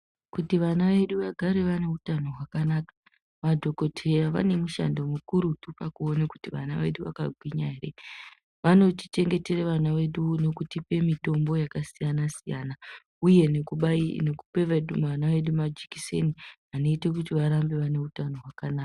Kuti vana vedu vagare vane utano hwakanaka madhokodheya vane mushando mukurutu pakuone kuti vana vedu vakagwinya ere vanotichengetera vana vedu nokutipe mitombo yakasiyana siyana uye nekupe vana vedu majikiseni anoite kuti vave neutano hwakanaka.